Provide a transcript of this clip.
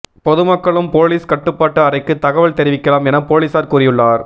பொதுமக்களும் போலீஸ் கட்டுப்பாட்டு அறைக்கு தகவல் தெரிவிக்கலாம் என போலீஸார் கூறியுள்ளார்